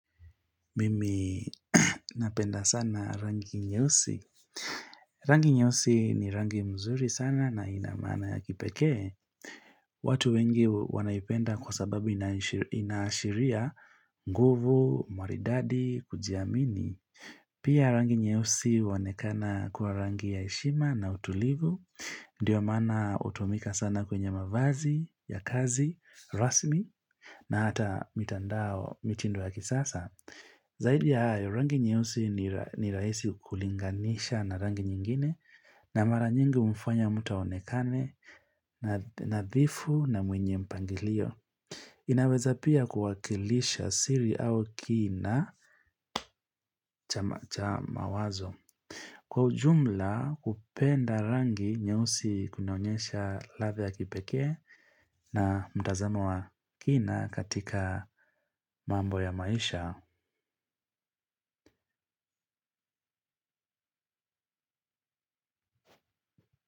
Mimi napenda sana rangi nyeusi. Rangi nyeusi ni rangi mzuri sana na inamaana ya kipekee. Watu wengi wanaipenda kwa sababu inashiria nguvu, maridadi, kujiamini. Pia rangi nyeusi huonekana kuwa rangi ya heshima na utulivu. Ndiyo mana utumika sana kwenye mavazi, ya kazi, rasmi na hata mitandao mitindo ya kisasa. Zaidi ya hayo, rangi nyeusi ni raisi kulinganisha na rangi nyingine na mara nyingi mfanya mutu aonekane nadhifu na mwenye mpangilio. Inaweza pia kuwakilisha siri au kina cha mawazo. Kwa ujumla kupenda rangi nyeusi kunaonyesha lave ya kipekee na mtazama wa kina katika mambo ya maisha.